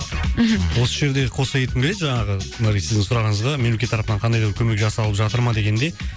мхм осы жерде қоса кеткім келеді жаңағы мына сіздің сұрағыңызға мемлекет тарапынан қандай да бір көмек жасалып жатыр ма дегендей